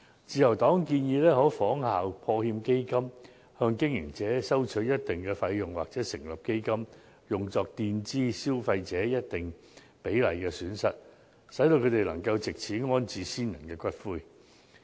自由黨建議，政府可以仿效破產欠薪保障基金，向經營者收取一定費用成立基金，墊支消費者需支付費用的一定比例，使他們能夠安置先人的骨灰。